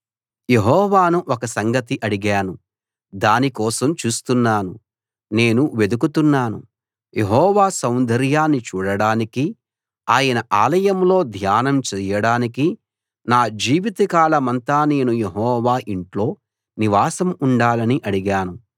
యెహోవాను ఒక్క సంగతి అడిగాను దాని కోసం చూస్తున్నాను నేను వెదుకుతున్నాను యెహోవా సౌందర్యాన్ని చూడడానికి ఆయన ఆలయంలో ధ్యానం చెయ్యడానికి నా జీవితకాలమంతా నేను యెహోవా ఇంట్లో నివాసం ఉండాలని అడిగాను